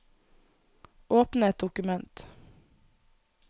Åpne et dokument